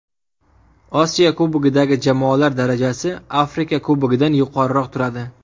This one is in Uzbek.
Osiyo Kubogidagi jamoalar darajasi Afrika Kubogidan yuqoriroq turadi.